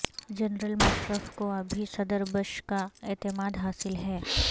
general Musharraf کو ابھی صدر بش کا اعتماد حاصل ہے